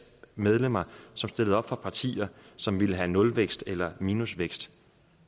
medlemmer som stillede op for partier som ville have nulvækst eller minusvækst